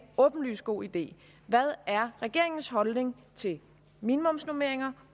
åbenlyst god idé hvad er regeringens holdning til minimumsnormeringer